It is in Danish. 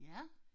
Ja